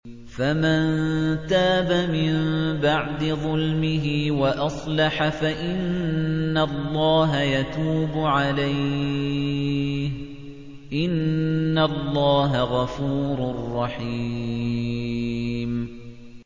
فَمَن تَابَ مِن بَعْدِ ظُلْمِهِ وَأَصْلَحَ فَإِنَّ اللَّهَ يَتُوبُ عَلَيْهِ ۗ إِنَّ اللَّهَ غَفُورٌ رَّحِيمٌ